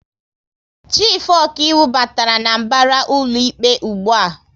Chifu okaiwu batara n'mbara ụlọikpe ụgbụa